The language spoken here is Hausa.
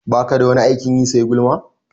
Baka da wani aikin yi sai gulma?